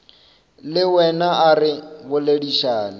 le wena a re boledišane